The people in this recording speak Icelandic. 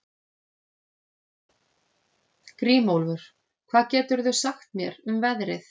Grímólfur, hvað geturðu sagt mér um veðrið?